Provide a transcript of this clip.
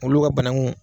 Olu ka bananku